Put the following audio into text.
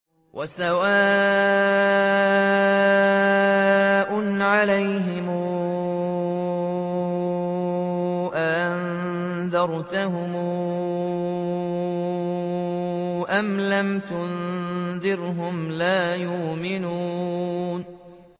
وَسَوَاءٌ عَلَيْهِمْ أَأَنذَرْتَهُمْ أَمْ لَمْ تُنذِرْهُمْ لَا يُؤْمِنُونَ